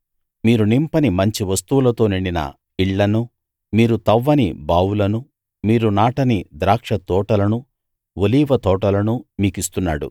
మీరు నింపని మంచి వస్తువులతో నిండిన ఇళ్ళనూ మీరు తవ్వని బావులనూ మీరు నాటని ద్రాక్షతోటలనూ ఒలీవ తోటలనూ మీకిస్తున్నాడు